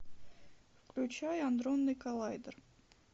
включай адронный коллайдер